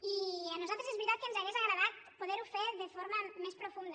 i a nosaltres és veritat que ens hauria agradat poder·ho fer de forma més pro·funda